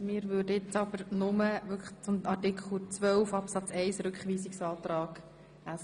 Wir führen die Debatte vorerst nur zum Rückweisungsantrag SVP.